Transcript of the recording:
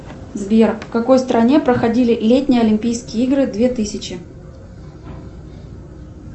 сбер в какой стране проходили летние олимпийские игры две тысячи